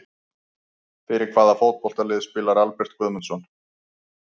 Fyrir hvaða fótboltalið spilar Albert Guðmundsson?